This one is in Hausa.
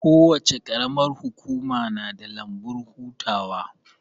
Kowace qaramar hukuma na da lambun hutawa